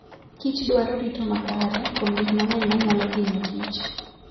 Kich dwaro rito makare kuom gik mang'eny ma nyalo hinyo kich.